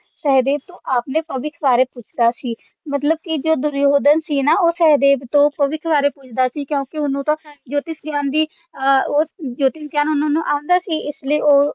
ਸਹਿਦੇਵ ਤੋਂ ਆਪਣੇ ਭਵਿੱਖ ਬਾਰੇ ਪੁੱਛਦਾ ਸੀ ਮਤਲਬ ਕਿ ਜੋ ਦੁਰਯੋਧਨ ਸੀ ਉਹ ਸਹਿਦੇਵ ਤੋਂ ਭਵਿੱਖ ਬਾਰੇ ਪੁੱਛਦਾ ਸੀ ਕਿਉਂਕਿ ਹੁਣ ਤਾਂ ਜੋਤਿਸ਼ ਗਈਆਂ ਦੀ ਓਹਨੂੰ ਜੋਤਿਸ਼ ਗਈਆਂ ਦੀ ਅਹ ਦੀ ਜੋਤਿਸ਼ ਗਿਆਨ ਉਹਨਾਂ ਨੂੰ ਆਉਂਦਾ ਸੀ ਇਸਲਈ ਉਹ